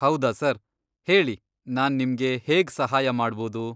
ಹೌದಾ ಸರ್, ಹೇಳಿ ನಾನ್ ನಿಮ್ಗೆ ಹೇಗ್ ಸಹಾಯ ಮಾಡ್ಬೋದು?